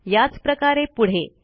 याच प्रकारे पुढे